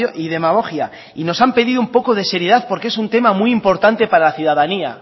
y demagogia y nos han pedido un poco de seriedad porque es un tema muy importante para la ciudadanía